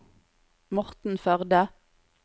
Morten Førde